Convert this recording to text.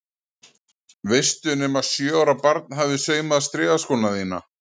Veistu nema sjö ára barn hafi saumað strigaskóna þína?